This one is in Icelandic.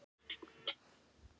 Fjöldi vitna var að slysinu.